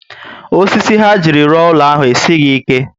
Osisi ha jiri rụọ úlọ ahụ esighi ike